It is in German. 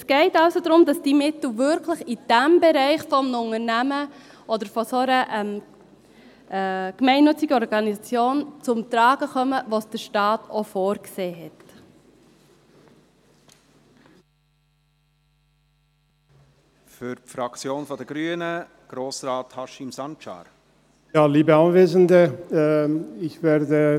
Es geht also darum, dass diese Mittel wirklich in jenem Bereich eines Unternehmens oder einer gemeinnützigen Organisation zum Tragen kommen, in dem es der Staat auch vorgesehen hat.